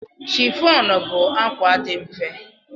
Chiffon bụ akwa dị mfe.